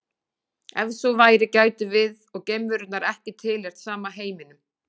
Ef svo væri gætum við og geimverunnar ekki tilheyrt sama heiminum.